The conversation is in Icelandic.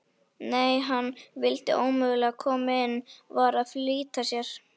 Nei, hann vildi ómögulega koma inn, var að flýta sér.